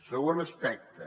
segon aspecte